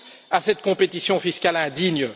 à cette compétition fiscale indigne.